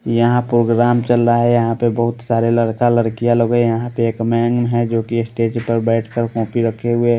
यहाँ प्रोग्राम चल रहा है यहाँ पे बहुत सारे लड़का लड़कियाँ लोगे यहाँ पे एक मैम हैं जोकि स्टेज पर बैठकर कॉम्पी रखे हुए है।